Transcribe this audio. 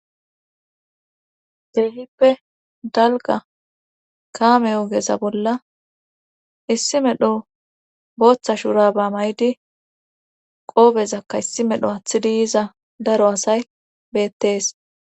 Keehippe dalga kaameyogeza bolla issi medho booththa shuraba may7idi qoobezakka issi medho hathidi yiza daro asay beettees